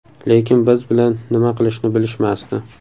Lekin biz bilan nima qilishni bilishmasdi.